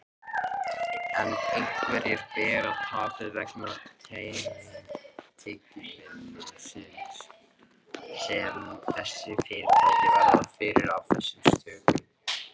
En hverjir bera tapið vegna tekjumissisins sem þessi fyrirtæki verða fyrir af þessum sökum?